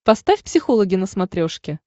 поставь психологи на смотрешке